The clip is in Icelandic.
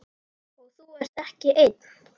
Og þú ert ekki einn.